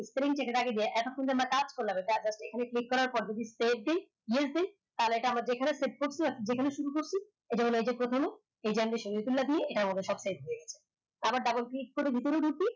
এত খন আমরা যে আমরা কাজ করলাম click করার পর save দি yes দি তা হলে আমরা যেখানে save করছি যেখানে শুরু করছি এটা হল এই যে প্রথমে এই যে দিয়ে এইটা সত্যায়িত হয়ে গেলো আবার double click করে ভিতরে ঢুকি